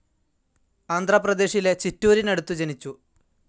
ആന്ധ്ര പ്രദേശിലെ ചിറ്റൂരിനടുത്ത് ജനിച്ചു.